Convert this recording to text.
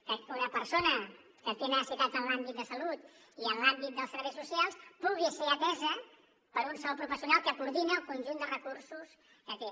que una persona que té necessitats en l’àmbit de salut i en l’àmbit dels serveis socials pugui ser atesa per un sol professional que coordina el conjunt de recursos que té